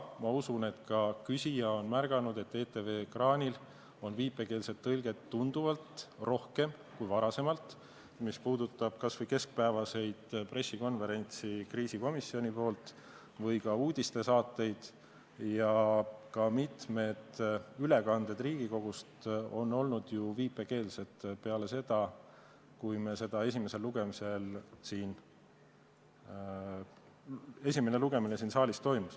Ma usun, et ka küsija on märganud, et ETV ekraanil on viipekeeletõlget tunduvalt rohkem kui varem, mis puudutab kas või keskpäevaseid kriisikomisjoni pressikonverentse või ka uudistesaateid, ka mitmed ülekanded Riigikogust on olnud ju viipekeelsed peale seda, kui esimene lugemine siin saalis toimus.